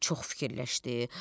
Çox fikirləşdi.